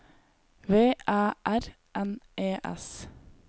V Æ R N E S